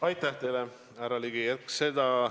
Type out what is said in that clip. Aitäh teile, härra Ligi!